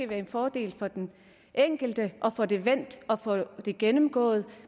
være en fordel for den enkelte at få det vendt og få det gennemgået